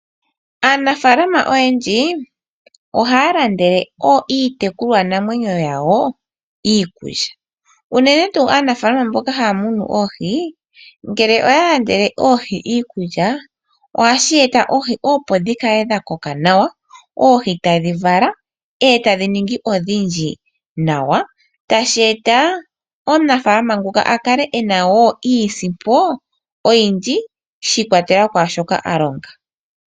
Aanafalama oyendji ohaya landele iitekulwanamwenyo yawo iikulya unene tu aanafalama mboka haya munu oohi, ngele oha landele oohi iikulya ohashi eta oohi opo dhikale dhakoka nawa. Oohi tadhi vulu oku vala etadhi ningi odhindji nawa tashi eta omunafalama nguka akale ena wo iisimpo oyindji shi ikwatelela kwa shoka alonga.